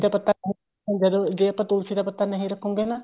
ਪੱਤਾ ਜੇ ਆਪਾਂ ਤੁਲਸੀ ਦਾ ਪੱਤਾ ਨਹੀਂ ਰੱਖੋਗੇ ਨਾ